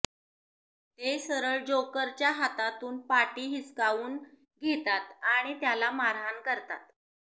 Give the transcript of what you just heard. ते सरळ जोकरच्या हातातून पाटी हिसकावून घेतात आणि त्याला मारहाण करतात